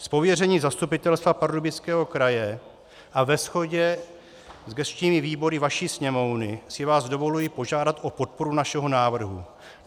Z pověření Zastupitelstva Pardubického kraje a ve shodě s gesčními výbory vaší Sněmovny si vás dovoluji požádat o podporu našeho návrhu.